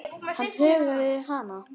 Hann huggaði hana.